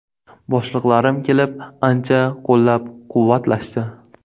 Boshliqlarim kelib, ancha qo‘llab-quvvatlashdi.